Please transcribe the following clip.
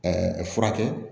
Ɛɛ furakɛ